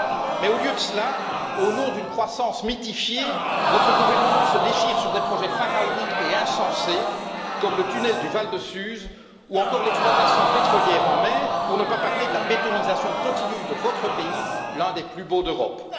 Mais, au lieu de cela, au nom d'une croissance mythifiée, votre gouvernement se déchire sur des projets pharaoniques et insensés, comme le tunnel du Val de Suse ou encore l'exploitation pétrolière en mer, pour ne pas parler de la bétonisation continue de votre pays, l'un des plus beaux d'Europe.